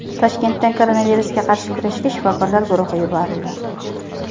Toshkentdan koronavirusga qarshi kurashga shifokorlar guruhi yuborildi.